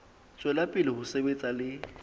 tswela pele ho sebetsa le